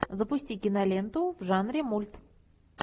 запусти киноленту в жанре мульт